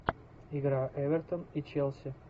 игра эвертон и челси